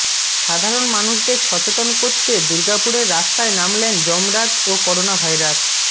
সাধারণ মানুষদের সচেতন করতে দূর্গাপুরের রাস্তায় নামলেন যমরাজ ও করোনা ভাইরাস